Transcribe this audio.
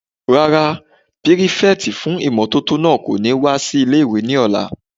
Rárá, pírífẹ̀tì fún ìmótótó náà kò ní wá sí ilé-ìwé ní ọ̀la